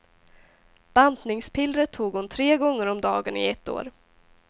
Bantningspillret tog hon tre gånger om dagen i ett år.